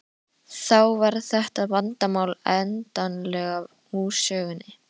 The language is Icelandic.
Þá var þetta vandamál endanlega úr sögunni.